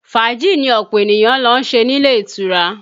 Fàájì ni ọ̀pọ̀ ènìyàn ń lọ ṣe nílé ìtura